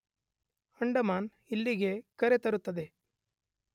ಅಂಡಮಾನ್ ಇಲ್ಲಿಗೆ ಕರೆತರುತ್ತದೆ.